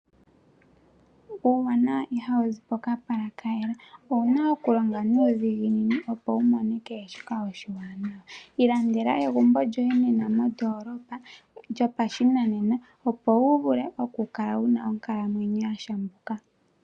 Uuwanawa ihawuzi pokapala kayela owuna okulonga nuudhiginini opo wumone kehe shoka oshiwanawa. Olandela egumbo lyoye lyopashinanena opo wuvule oku kala wuna onkalamwenyo ya shenuka.